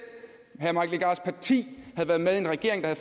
herre mike legarths parti havde været med i en regering der